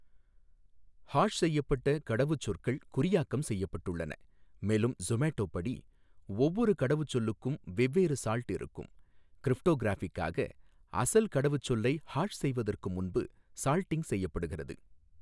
Hash செய்யப்பட்ட கடவுச்சொற்கள் குறியாக்கம் செய்யப்பட்டுள்ளன, மேலும் சொமேட்டோ படி, ஒவ்வொரு கடவுச்சொல்லுக்கும் வெவ்வேறு சால்ட் இருக்கும், கிரிப்டோகிராஃபிக்காக, அசல் கடவுச்சொல்லை ஹாஷ் செய்வதற்கு முன்பு சால்டிங் செய்யபடுகிறது.